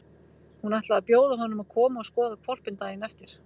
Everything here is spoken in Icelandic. Hann ætlaði að bjóða honum að koma og skoða hvolpinn daginn eftir.